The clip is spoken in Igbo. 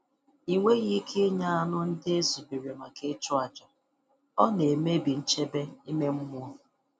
Ị nweghị ike ịnya anụ ndị e zubere maka ịchụ àjà—ọ na-emebi nchebe ime mmụọ.